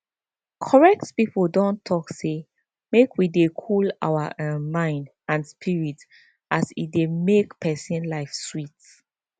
correct pipo don talk say make we dey cool our um mind and spirit as e dey make pesin life sweet